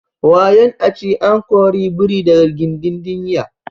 wayon a ci an kori biri daga gindin dinya